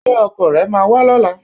Ṣé ọkọ rẹ máa wá lọ́la?